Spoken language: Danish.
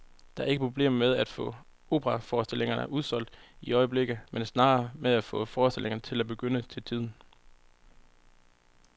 Der er ikke problemer med at få operaforestillinger udsolgt i øjeblikket, men snarere med at få forestillingerne til at begynde til tiden.